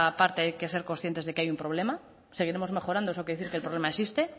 parte es que hay que ser conscientes de que hay un problema seguiremos mejorando eso quiere decir que el problema existe